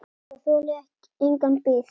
Það þolir enga bið.